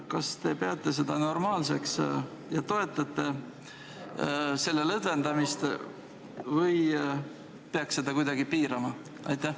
Kas te peate seda normaalseks ja toetate selle lõdvendamist või peaks seda kuidagi piirama?